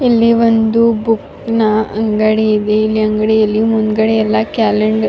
ಇಲ್ಲಿ ಒಂದು ಬುಕ್ನ ಅಂಗಡಿ ಇದೆ. ಇಲ್ಲಿ ಅಂಗಡಿಯಲ್ಲಿ ಮುಂದುಗಡೆ ಎಲ್ಲ ಕ್ಯಾಲೆಂಡರ್ --